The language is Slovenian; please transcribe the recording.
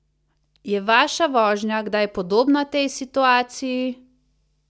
Je vaša vožnja kdaj podobna tej situaciji?